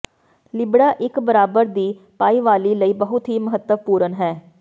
ਲਿਬੜਾ ਇੱਕ ਬਰਾਬਰ ਦੀ ਭਾਈਵਾਲੀ ਲਈ ਬਹੁਤ ਹੀ ਮਹੱਤਵਪੂਰਨ ਹੈ